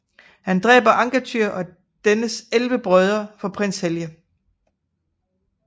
Han dræber Angantyr og dennes 11 brødre for prins Helge